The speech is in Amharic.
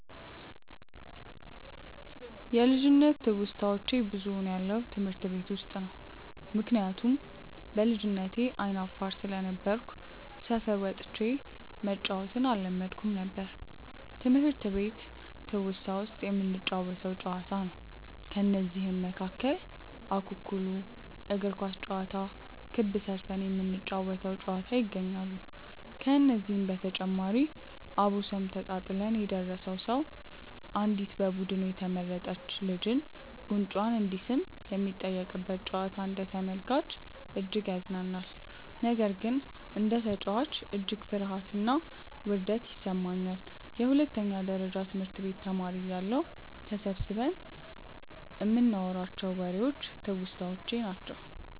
ልጅነት ትውስታዋች ብዙውን ያለው ትምህርት ቤት ውስጥ ነው። ምክንያቱም በልጅነቴ አይነ አፋር ስለነበርኩ ሰፈር ወጥቼ መጫዎትን አለመድኩም ነበር። ትምህርት ቤት ትውስታ ውስጥ የምንጫወተው ጨዋታ ነው። ከነዚህም መካከል እኩኩሉ፣ እግር ኳስ ጨዋታ፣ ክብ ስርተን የምንጫወ ተው ጨዋታ ይገኛሉ። ከዚህ በተጨማሪም አቦሰኔ ተጣጥለን የደረሰው ሰው አንዲት በቡዱኑ የተመረጥች ልጅን ጉንጯን እንዲስም የሚጠየቅበት ጨዋታ አንደ ተመልካች እጅግ ያዝናናኛል። ነገር ግን እንደ ተጨዋች እጅግ ፍርሀትና ውርደት ይሰማኛል። የሁለተኛ ደረጀ ትምህርት ቤት ተማሪ እያለሁ ተሰብስበን ይንናዋራቸው ዎሬዎች ትውስታዎቼ ናቸው።